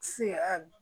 Se a